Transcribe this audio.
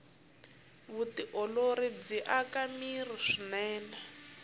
vutiolori byi aka mirhi swinene